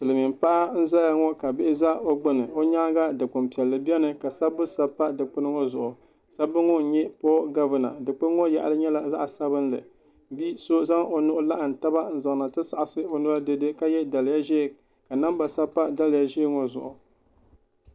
Silmiin paɣa n ʒɛya ŋɔ ka bihi bɛ o gbuni o nyaanga dikpuni piɛlli biɛni ka sabbu sabi pa dikpuni piɛlli ŋɔ zuɣu sabbu ŋɔ n nyɛ puuo gavina dikpuni ŋɔ yaɣali nyɛla zaɣ sabinli bia so zaŋ o nuhi laɣam taba n zaŋna ti saɣasi o noli dɛdɛ ka yɛ daliya ʒiɛ ka namba sabi pa daliya ʒiɛ ŋɔ zuɣu